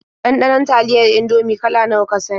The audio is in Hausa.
Ɗanɗanon taliyar Indomie kala nawa ka sani?